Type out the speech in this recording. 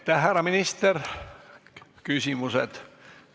Aitäh, härra minister!